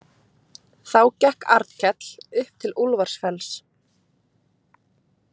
Þá gekk Arnkell upp til Úlfarsfells.